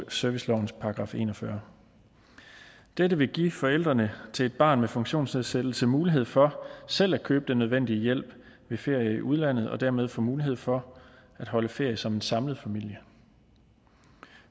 servicelovens § en og fyrre dette vil give forældrene til et barn med funktionsnedsættelse mulighed for selv at købe den nødvendige hjælp ved ferie i udlandet og dermed få mulighed for at holde ferie som en samlet familie